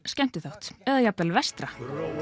skemmtiþátt eða jafn vel vestra